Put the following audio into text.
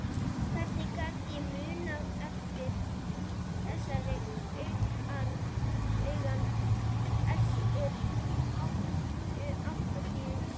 Hvernig gat ég munað eftir þessari angan þremur áratugum síðar?